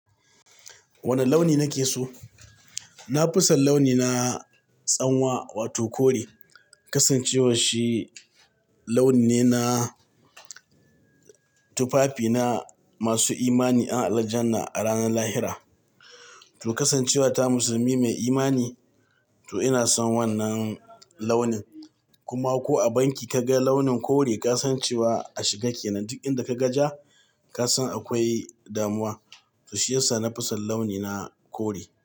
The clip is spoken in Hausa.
Wane launi nake so? Na fi son launi na tsanwa wato kore. Kasancewa shi launi ne na tufafi na masu imani ƴan Aljanna a ranar lahira. To kasancewa ta musulmi mai imani to ina son wannan launin. Kuma ko a banki ka ga launin kore ka san cewa a shiga kenan. Duk inda ka ga ja ka san akwai damuwa. To shiyasa na fi son launi na kore.